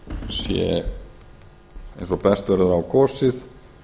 sé eins og best verður á kosið